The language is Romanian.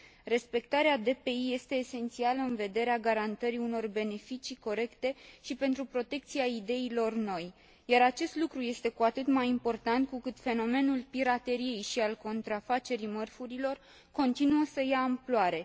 Respectarea DPI este esențială în vederea garantării unor beneficii corecte și pentru protecția ideilor noi, iar acest lucru este cu atât mai important cu cât fenomenul pirateriei și al contrafacerii mărfurilor continuă să ia amploare.